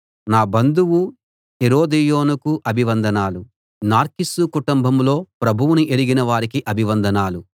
నా బంధువు హెరోదియోనుకు అభివందనాలు నార్కిస్సు కుటుంబంలో ప్రభువును ఎరిగిన వారికి అభివందనాలు